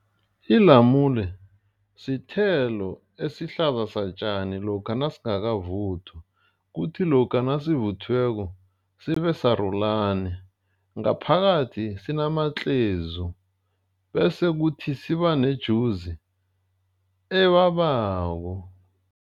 Ilamule sithelo esihlaza satjani lokha nasingakavuthwa. Kuthi lokha nasivuthiweko sibe sarulani. Ngaphakathi sinamatlezu bese ukuthi siba nejuzi ebabako.